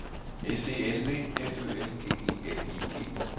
S E L V F Ø L G E L I G